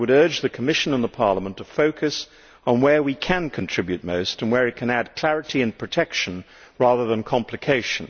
I would urge the Commission and Parliament to focus on where we can contribute most and where we can add clarity and protection rather than complication.